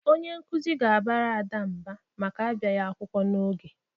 Onye nkuzi ga-abara Ada mba maka abịaghị akwụkwọ n'oge.